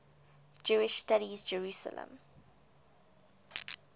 jewish studies jerusalem